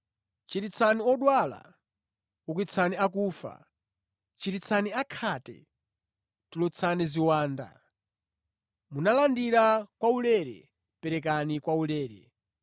Chiritsani odwala, ukitsani akufa, chiritsani akhate, tulutsani ziwanda. Munalandira kwaulere, perekani kwaulere.